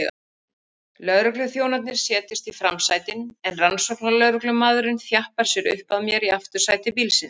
Lögregluþjónarnir setjast í framsætin en rannsóknarlögreglumaðurinn þjappar sér upp að mér í aftursæti bílsins.